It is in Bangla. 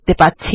দেখতে পাব